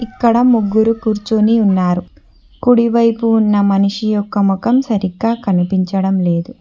ఇక్కడ ముగ్గురు కూర్చుని ఉన్నారు కుడి వైపు ఉన్న మనిషి యొక్క మొఖం సరిగ్గా కనిపించడం లేదు.